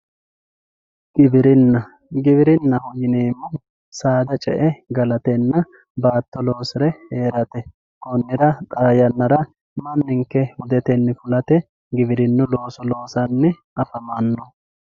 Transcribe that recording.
giwirinna giwirinnaho yineemohu saada ce"e galatenna baatto loosire heerate konnira xaa yannara manninke hudete fulate giwirinnu looso loosanni afamanno.